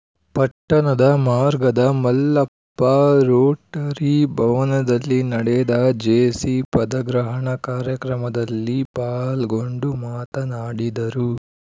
ಪಟ್ಟಣದ ಮಾರ್ಗದ ಮಲ್ಲಪ್ಪ ರೋಟರಿ ಭವನದಲ್ಲಿ ನಡೆದ ಜೆಸಿ ಪದಗ್ರಹಣ ಕಾರ್ಯಕ್ರಮದಲ್ಲಿ ಪಾಲ್ಗೊಂಡು ಮಾತನಾಡಿದರು